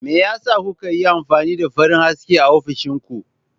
Me yasa kuka yi amfani da farin haske a ofishin ku?